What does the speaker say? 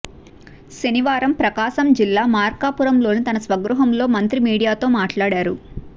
శనివారం ప్రకాశం జిల్లా మార్కాపురంలోని తన స్వగృహంలో మంత్రి మీడియాతో మాట్లాడారు